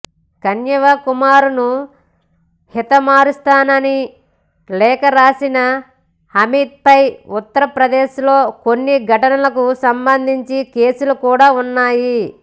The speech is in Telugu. కన్హయ్యకుమార్ను హతమారుస్తానని లేఖ రాసిన అమిత్పై ఉత్తరప్రదేశ్లో కొన్ని ఘటనలకుసంబంధించి కేసులు కూడా ఉన్నాయి